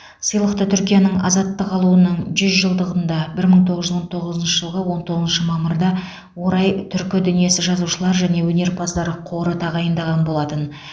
сыйлықты түркияның азаттық алуының жүз жылдығына бір мың тоғыз жүз он тоғызыншы жылғы он тоғызыншы мамырда орай түркі дүниесі жазушылар және өнерпаздар қоры тағайындаған болатын